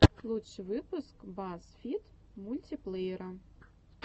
лучший выпуск базз фид мультиплеера